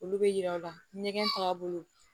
Olu bɛ yira aw la ɲɛgɛn tagabolo